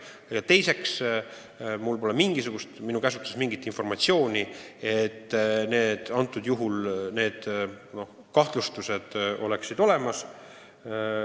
Aga minu käsutuses pole mingit informatsiooni, et nendel kahtlustustel oleks alust.